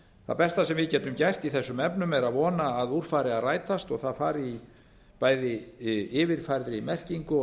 það besta sem við getum gert í þessum efnum er að vona að úr fari að rætast og það fari bæði í yfirfærðri merkingu og